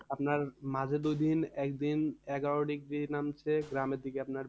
আপনার মাঝের দুই দিন একদিন এগারো degree নামছে গ্রামের দিকে আপনার